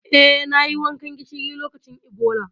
Eh, nayi wankan gishiri lokacin Ebola.